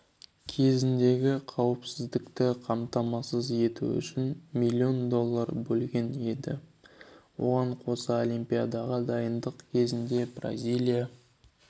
кезіндегі қауіпсіздікті қамтамасыз ету үшін миллион доллар бөлген еді оған қоса олимпиадаға дайындық кезінде бразилия